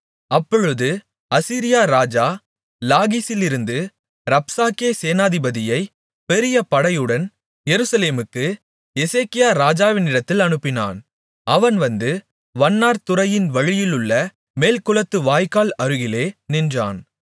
அப்பொழுது அசீரியா ராஜா லாகீசிலிருந்து ரப்சாக்கே சேனாதிபதியைப் பெரிய படையுடன் எருசலேமுக்கு எசேக்கியா ராஜாவினிடத்தில் அனுப்பினான் அவன் வந்து வண்ணார்துறையின் வழியிலுள்ள மேல்குளத்துச் வாய்க்கால் அருகிலே நின்றான்